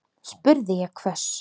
spurði ég hvöss.